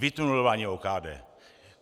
Vytunelování OKD.